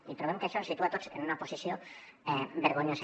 i trobem que això ens situa a tots en una posició vergonyosa